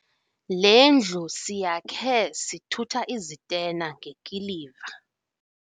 Le ndlu siyakhe sithutha izitena ngekiliva.